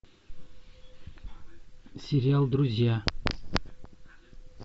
сериал друзья